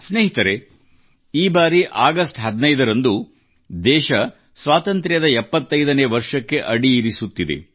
ಸ್ನೇಹಿತರೆ ಈ ಬಾರಿ ಅಗಸ್ಟ್ 15 ರಂದು ದೇಶ ಸ್ವಾತಂತ್ರ್ಯದ 75 ನೇ ವರ್ಷಕ್ಕೆ ಅಡಿಯಿರಿಸುತ್ತಿದೆ